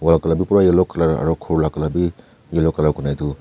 la colour bi pura yellow colour aro khor la colour bi yellow colour kurina edu.